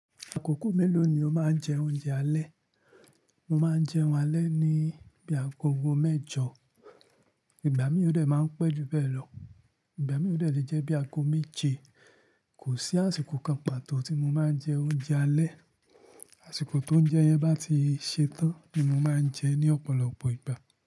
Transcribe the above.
Àkókò mélòó ni o máa ń jẹ oúnjẹ alẹ́? Mo máa ń jẹ oúnjẹ alẹ́ ní bí i àgọ̀go mẹ́jọ, ìgbà mìíràn o de máa ń pé ju bẹ́ẹ̀ lọ, ìgbà mìíràn o de lè jẹ́ bí i àgó méje. Kò sí àsìkò kan pàtó tí mo máa ń jẹ oúnjẹ alẹ́. Àsìkò tó ń jẹ yẹn bá ti ṣe tán ni mo máa ń jẹ ní ọ̀pọ̀lọpọ̀ ìgbà.